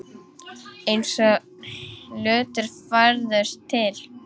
Eins og hlutir færðust til.